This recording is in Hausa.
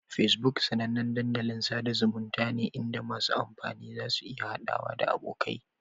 Facebook sanannen dandalin sada zumunta ne inda masu amfani za su iya haɗawa da abokai.